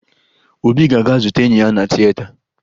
Obi ga-aga zute enyi ya na tieta